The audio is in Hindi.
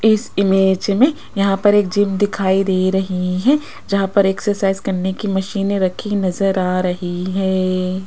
इस इमेज में यहां पर एक जिम दिखाई दे रही है जहां पर एक्सरसाइज करने की मशीनें रखी नजर आ रही है।